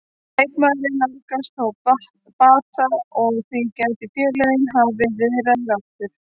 Leikmaðurinn nálgast þó bata og því gætu félögin hafið viðræður aftur.